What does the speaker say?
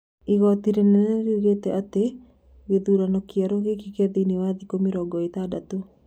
Igoti rĩnene nĩriugĩte atĩ gĩthurano kĩerũ gĩkĩkĩ thĩinĩ wa thikũ mĩrongo ĩtandato